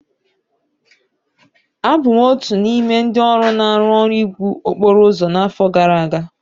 Abụ m otu n'ime ndị ọrụ na-arụ ọrụ iwu okporo ụzọ n'afọ gara aga.